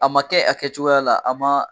A ma kɛ a kɛcogoya la a ma